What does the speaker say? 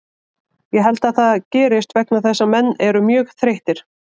Ég held að það gerist vegna þess að menn eru mjög þreyttir.